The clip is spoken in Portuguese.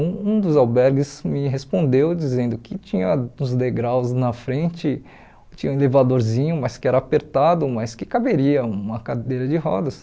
Um u dos albergues me respondeu dizendo que tinha uns degraus na frente, tinha um elevadorzinho, mas que era apertado, mas que caberia uma cadeira de rodas.